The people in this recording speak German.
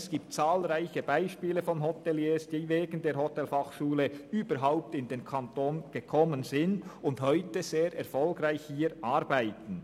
Es gibt zahlreiche Beispiele von Hoteliers, die wegen der Hotelfachschule Thun überhaupt in den Kanton gezogen sind und heute sehr erfolgreich hier arbeiten.